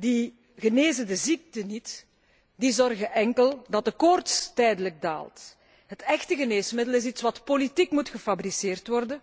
die genezen de ziekte niet, die zorgen enkel dat de koorts tijdelijk daalt. Het echte geneesmiddel is iets wat politiek gefabriceerd moet worden,